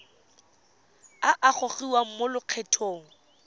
a a gogiwang mo lokgethong